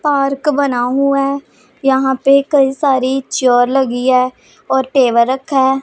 park बना हुआ यहां पे कई सारी चेयर लगी है और टेबल रखा--